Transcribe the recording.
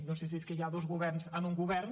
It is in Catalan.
no sé si és que hi ha dos governs en un govern